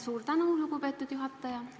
Suur tänu, lugupeetud juhataja!